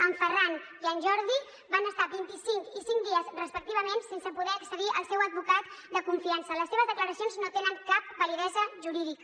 en ferran i en jordi van estar vint i cinc i cinc dies respectivament sense poder accedir al seu advocat de confiança les seves declaracions no tenen cap validesa jurídica